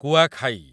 Kuakhai